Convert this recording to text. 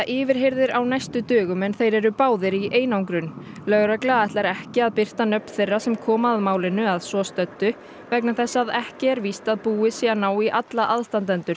yfirheyrðir á næstu dögum en þeir eru báðir í einangrun lögregla ætlar ekki að birta nöfn þeirra sem koma að málinu að svo stöddu vegna þess að ekki er víst að búið sé að ná í alla